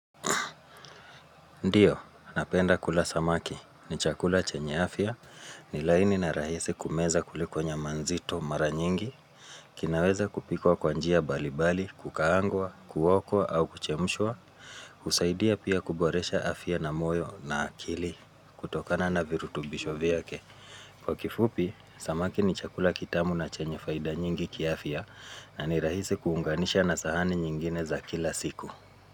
Ndiyo, napenda kula samaki, ni chakula chenye afya, ni laini na rahisi kumeza kuliko nyaman nzito mara nyingi, kinaweza kupikwa kwa njia mbali mbali, kukaangwa, kuokwa au kuchemshwa, husaidia pia kuboresha afya na moyo na akili, kutokana na virutubisho vyake. Kwa kifupi, samaki ni chakula kitamu na chenye faida nyingi kiafya, na ni rahisi kuunganisha na sahani nyingine za kila siku.